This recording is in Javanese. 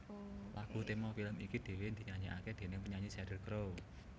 Lagu tema film iki dhéwé dinyanyèkaké déning penyanyi Sheryl Crow